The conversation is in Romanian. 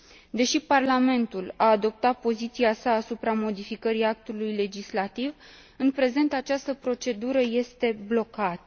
Deși Parlamentul a adoptat poziția sa asupra modificării actului legislativ, în prezent această procedură este blocată.